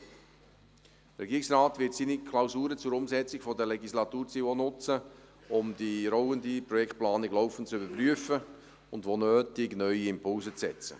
Der Regierungsrat wird seine Klausuren zur Umsetzung der Legislaturziele auch nutzen, um die rollende Projektplanung laufend zu überprüfen und wo nötig neue Impulse zu setzen.